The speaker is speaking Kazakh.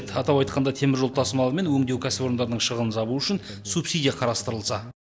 атап айтқанда теміржол тасымалы мен өңдеу кәсіпорындарының шығынын жабу үшін субсидия қарастырылса